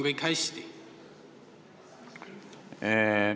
Kas kõik on hästi?